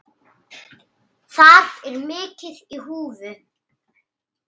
Þar er mikið í húfi.